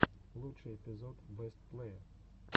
лучший эпизод бэст плэе